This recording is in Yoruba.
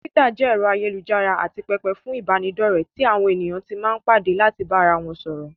Túwítà jẹ́ ẹ̀rọ ayélujára àti pẹpẹ fún ìbáraẹnidọ́ọ̀rẹ́ tí àwọn èèyàn tí máa n padà láti bá ara wọn sọ̀rọ̀